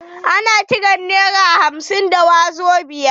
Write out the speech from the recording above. Ana kiran nera hamsin da wazobia.